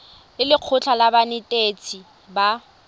le lekgotlha la banetetshi ba